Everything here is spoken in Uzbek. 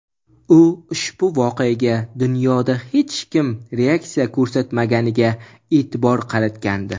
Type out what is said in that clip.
u ushbu voqeaga dunyoda hech kim reaksiya ko‘rsatmaganiga e’tibor qaratgandi.